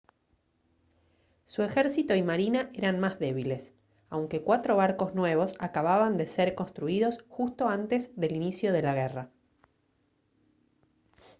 su ejército y marina eran más débiles aunque cuatro barcos nuevos acababan de ser construidos justo antes del inicio de la guerra